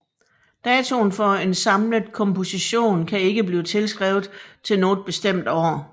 Datoen for en samlet komposition kan ikke blive tilskrevet til noget bestemt år